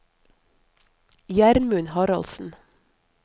Gjermund Haraldsen